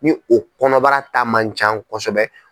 Ni o kɔnɔbara ta ma can kosɛbɛ.